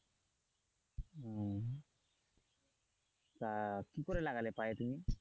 তা কি করে লাগালে পা এ তুমি?